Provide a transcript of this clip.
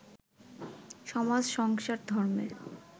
সমাজ-সংসার-ধর্মের